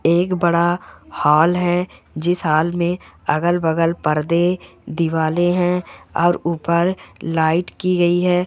एक बड़ा हॉल है जिस हॉल मे अगल बगल परदे दिवारे है और उपर लाइट की गई है।